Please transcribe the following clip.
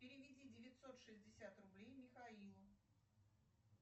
переведи девятьсот шестьдесят рублей михаилу